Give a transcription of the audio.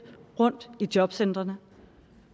rundt i jobcentrene